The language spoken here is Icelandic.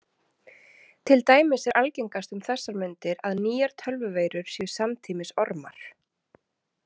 Til dæmis er algengast um þessar mundir að nýjar tölvuveirur séu samtímis ormar.